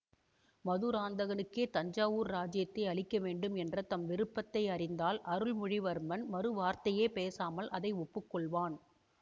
மதுராந்தகனுக்கே தஞ்சாவூர் இராஜ்யத்தை அளிக்க வேண்டும் என்ற தம் விருப்பத்தை அறிந்தால் அருள்மொழிவர்மன் மறுவார்த்தையே பேசாமல் அதை ஒப்புக்கொள்வான்